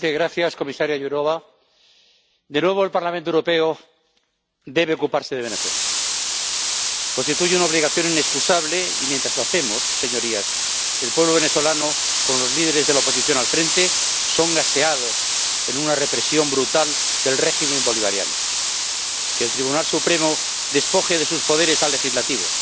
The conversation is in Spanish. Señor presidente gracias comisaria Jourová. De nuevo al Parlamento Europeo debe ocuparse de Venezuela. Constituye una obligación inexcusable y mientras lo hacemos, señorías, el pueblo venezolano con los líderes de la oposición al frente es gaseado en una represión brutal del régimen bolivariano. Que el Tribunal Supremo despoje de sus poderes al Legislativo